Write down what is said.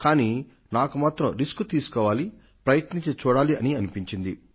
కానీ నాకు మాత్రం రిస్క్ తీసుకోవాలి ప్రయత్నించి చూడాలి అని అనిపించింది